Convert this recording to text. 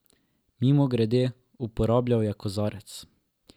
Mimogrede, uporabljal je kozarec.